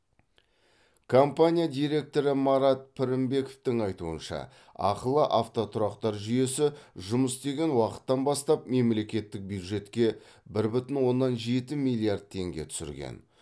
компания директоры марат пірінбековтің айтуынша ақылы автотұрақтар жүйесі жұмыс істеген уақыттан бастап мемлекеттік бюджетке бір бүтін оннан жеті миллиард теңге түсірген